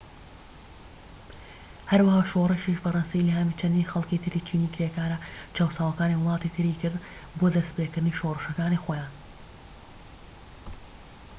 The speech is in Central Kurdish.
هەروەها شۆڕشی فەرەنسی ئیلهامی چەندین خەڵکی تری چینی کرێکارە چەوساوەکانی وڵاتانی تری کرد بۆ دەستیپێکردنی شۆڕشەکانی خۆیان